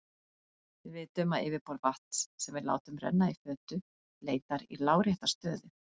Við vitum að yfirborð vatns sem við látum renna í fötu leitar í lárétta stöðu.